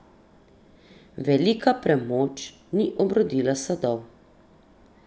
Velika premoč ni obrodila sadov.